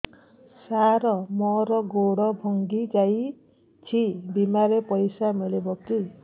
ସାର ମର ଗୋଡ ଭଙ୍ଗି ଯାଇ ଛି ବିମାରେ ପଇସା ମିଳିବ କି